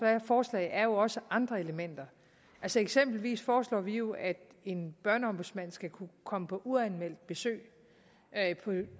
forslag er jo også andre elementer altså eksempelvis foreslår vi jo at en børneombudsmand skal kunne komme på uanmeldt besøg